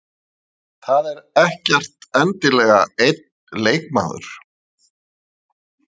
Það er ekkert endilega einn leikmaður.